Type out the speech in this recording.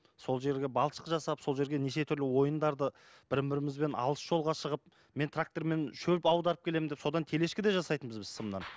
сол жерге балшық жасап сол жерге неше түрлі ойындарды бірін бірімізбен алыс жолға шығып мен трактормен шөп аударып келемін деп содан телешка да жасайтынбыз біз сымнан